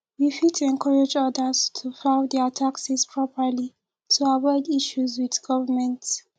we fit encourage others to file their taxes properly to avoid issues with government